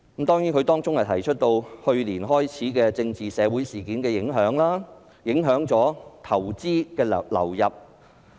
該基金會提到，去年開始的政治社會事件，影響到投資的流入。